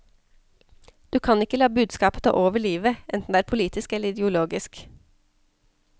Du kan ikke la budskapet ta over livet, enten det er politisk eller ideologisk.